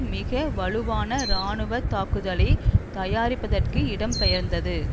மிக வலுவான இராணுவ தாக்குதலை தயாரிப்பதற்கு இடம்பெயர்ந்தது